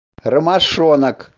ромашонок